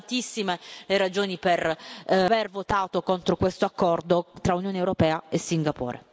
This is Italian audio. Sono tantissime le ragioni per aver votato contro questo accordo tra Unione europea e Singapore.